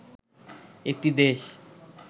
একটি দেশ